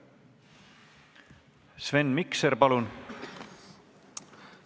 Sven Mikser, palun!